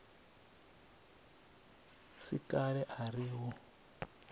si kale a ri u